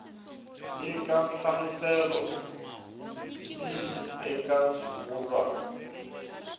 nyika nhlamuselo yihi eka xivulwa